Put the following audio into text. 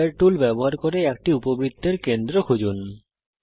centre tool ব্যবহার করে একটি উপবৃত্তের কেন্দ্র খুঁজুন